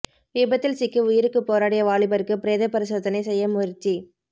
விபத்தில் சிக்கி உயிருக்கு போராடிய வாலிபருக்கு பிரேத பரிசோதனை செய்ய முயற்சி